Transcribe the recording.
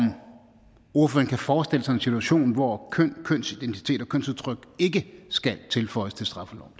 ordføreren kan forestille sig en situation hvor køn kønsidentitet og kønsudtryk ikke skal tilføjes til straffeloven